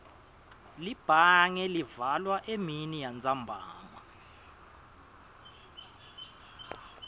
libhange livalwa eminiyantsambama